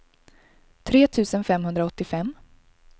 tre tusen femhundraåttiofem